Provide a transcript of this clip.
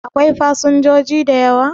Akwai fasinjoji da yawa?